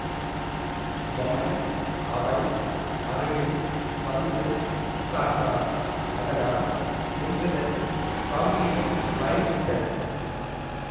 யமன் அவள் அருகில் வந்து உட்கார்ந்தான் அதனால் நின்றதன் காம்பீரியம் மறைந்துவிட்டது